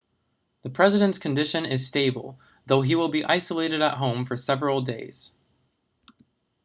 the president's condition is stable though he will be isolated at home for several days